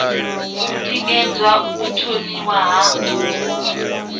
u tikedza u thomiwa ha